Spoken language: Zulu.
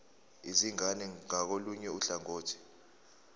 izingane ngakolunye uhlangothi